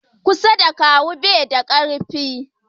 ƙusa da ka kawo bai da karfi